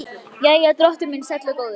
Jæja, drottinn minn sæll og góður.